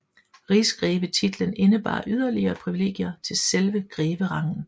Rigsgrevetitlen indebar yderligere privilegier til selve greverangen